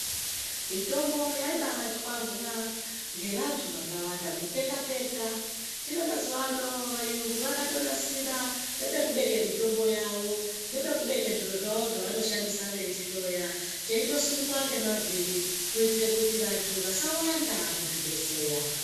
Mitombo yaibatwarwa ngevantu vakawanda kuteka teka. Hino mazuva ano vayungu vakatonasira nepekubeke mitombo yavo ngekekubeke zviro zvavo zvavanoshandisa weyihloya cheitosundwa nemavhiri kuitira kuti vantu vasawanda muzvibhedhleya.